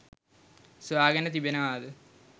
සොයා ගෙන තිබෙනවාද?